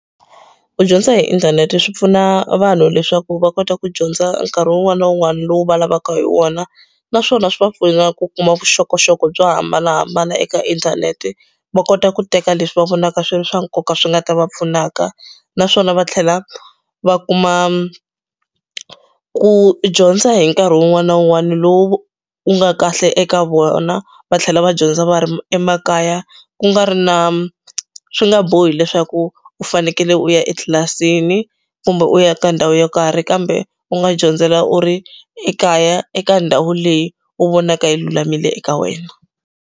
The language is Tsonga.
Ku dyondza hi inthanete swi pfuna vanhu leswaku va kota ku dyondza nkarhi wun'wana na wun'wana lowu va lavaka hi wona naswona swi va pfuna ku kuma vuxokoxoko byo hambanahambana eka inthanete va kota ku teka leswi va vonaka swi ri swa nkoka swi nga ta va pfunaka naswona va tlhela va kuma ku dyondza hi nkarhi wun'wana na wun'wana lowu wu nga kahle eka vona va tlhela va dyondza va ri emakaya ku nga ri na swi nga bohi leswaku ku u fanekele u ya etlilasini kumbe u ya ka ndhawu yo karhi kambe u nga dyondzela u ri ekaya eka ndhawu leyi u vonaka yi lulamile eka wena.